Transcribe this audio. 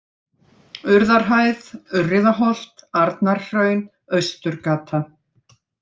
Urðarhæð, Urriðaholt, Arnarhraun, Austurgata